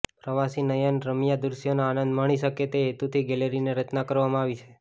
પ્રવાસી નયન રમ્યા દૃશ્યોનો આનંદ મણિ શકે તે હેતુ થી ગેલેરીની રચના કરવામાં આવી છે